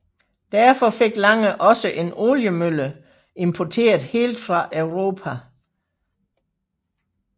Derfor fik Lange også en oliemølle importeret helt fra Europa